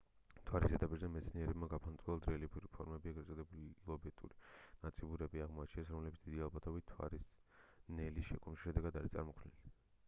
მთვარის ზედაპირზე მეცნიერებმა გაფანტულად რელიეფური ფორმები ეგრეთ წოდებული ლობეტური ნაწიბურები აღმოაჩინეს რომლებიც დიდი ალბათობით მთვარის ნელი შეკუმშვის შედეგად არის წარმოქმნილი